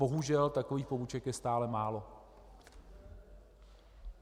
Bohužel, takových poboček je stále málo.